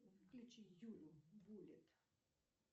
включи юлю буллит